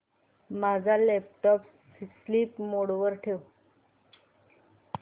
माझा laptop sleep mode वर ठेव